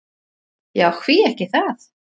Já, hví ekki það?